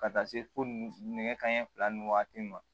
Ka taa se fo nɛgɛ kanɲɛ fila ni waati ma